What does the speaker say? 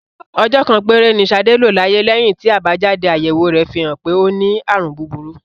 Ọjọ́ kan péré ni Ṣadé lò láyé lẹ́yìn tí àbájáde-àyẹ̀wò rẹ̀ fi hàn pé ó ní àrùn búburú.